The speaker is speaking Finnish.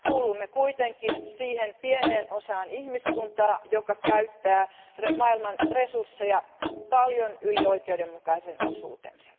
Kuulumme kuitenkin siihen pieneen osaan ihmiskuntaa, joka käyttää maailman resursseja paljon yli oikeudenmukaisen osuutensa.